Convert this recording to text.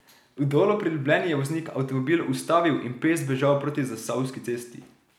V Dolu pri Ljubljani je voznik avtomobil ustavil in peš zbežal proti Zasavski cesti.